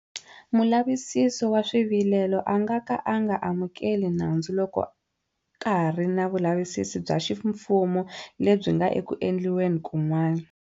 Mulavisisi wa Swivilelo a nga ka a nga amukeli nandzu loko ka ha ri na vulavisisi bya ximfumo lebyi nga eku endliweni kun'wana.